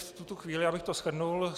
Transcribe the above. V tuto chvíli bych to shrnul.